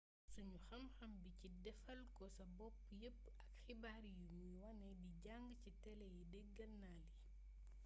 sunu xamxam bi ci défalko-sa-bopp yeepp ak xibaar yi muy wane di jang ci télé yi deeggeel na lii